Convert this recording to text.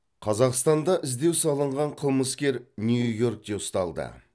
қазақстанда іздеу салынған қылмыскер нью йоркте ұсталды